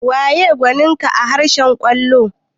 Waye gwanin ka a harkar kwallo?